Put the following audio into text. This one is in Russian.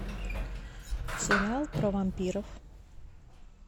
сериал про вампиров